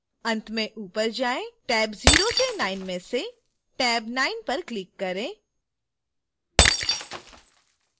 अंत में ऊपर जाएँ टैब 0 से 9 में से टैब 9 पर क्लिक करें